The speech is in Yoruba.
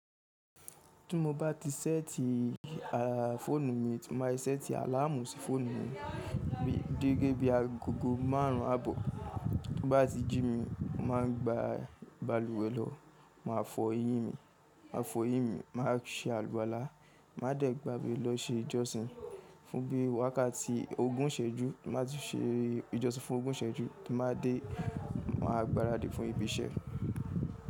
Tí mo bá ti ṣẹ́ẹ̀tì fọ́ọ̀nù mi, mo máa ṣẹ́ẹ̀tì àláàmù sí fọ́ọ̀nù mi dédé bí aago márùn ún àbọ̀. Bí bá ti jí mi, mà á gba balùwẹ̀ lọ, mà á fọ eyín mi, mà á fọ eyín mi, mà á se àlùwalá, mà á dẹ̀ gbà bé lọ ṣe ìjọsìn, fún bí wákàtí ogún ìsẹ́jú, má ti ṣe ìjọsìn fún ogún ìsẹ́jú, kí màá dé, màá gbaradì fún ibi iṣẹ́.